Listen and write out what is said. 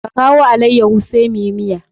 Ka kawo alaiyaho sai muyi miya.